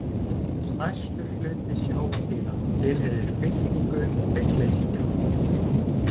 Stærstur hluti sjávardýra tilheyrir fylkingu hryggleysingja.